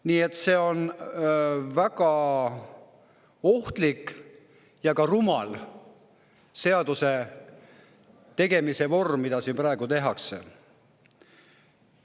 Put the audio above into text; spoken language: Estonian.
Nii et see on väga ohtlik ja ka rumal seaduse tegemise vorm, mida siin praegu.